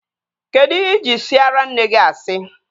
Kedụ ihe ị ji siara nne gị asị?